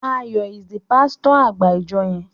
Ayo is the pasito agba ìjọ yén.